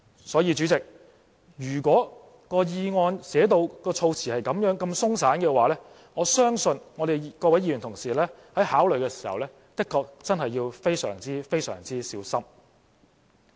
所以，主席，如果議案措辭如此鬆散，我相信各位議員同事在考慮時，的確真的要非常小心。